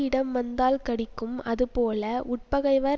இடம் வந்தால் கடிக்கும் அதுபோல உட்பகைவர்